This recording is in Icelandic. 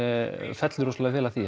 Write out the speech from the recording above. fellur rosalega vel að því